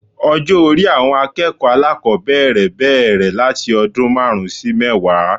Ọjó orí àwọn akéèkòó alákòbéèrè béèrè láti ọdún máàrún sí mẹ́wàá